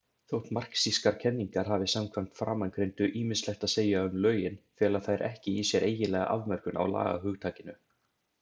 Þótt marxískar kenningar hafi samkvæmt framangreindu ýmislegt að segja um lögin, fela þær ekki í sér eiginlega afmörkun á lagahugtakinu.